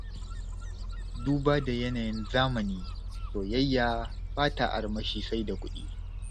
Duba da yanayin zamani, soyayya ba ta armashi sai da kuɗi.